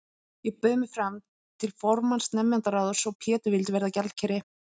Ég bauð mig fram til formanns nemendaráðs og Pétur vildi verða gjaldkeri.